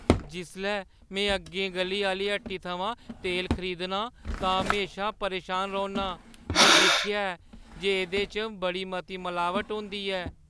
जिसलै में अग्गें गʼली आह्‌ली हट्टी थमां तेल खरीदना आं तां में म्हेशा परेशान रौह्‌न्ना आं। में दिक्खेआ ऐ जे एह्दे च बड़ी मती मलाबट होंदी ऐ।